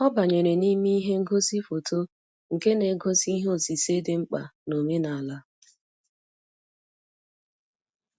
Ọ banyere n'ime ihe ngosi foto nke na-egosi ihe osise dị mkpa na-omenala.